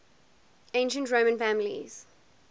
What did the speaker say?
ancient roman families